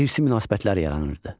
İrsi münasibətlər yaranırdı.